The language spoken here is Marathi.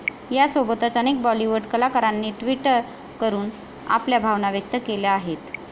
यासोबतच अनेक बॉलिवूड कलाकारांनी ट्विट करून आपल्या भावना व्यक्त केल्या आहेत.